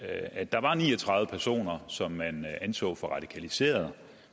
at der var ni og tredive personer som man anså for radikaliserede